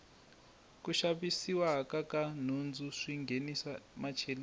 ku xavisiwa ka nhundzu swi nghenisa macheleni